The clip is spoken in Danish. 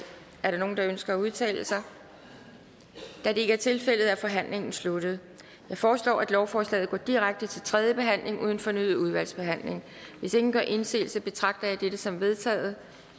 er der nogen der ønsker at udtale sig da det ikke er tilfældet er forhandlingen sluttet jeg foreslår at lovforslaget går direkte til tredje behandling uden fornyet udvalgsbehandling hvis ingen gør indsigelse betragter jeg dette som vedtaget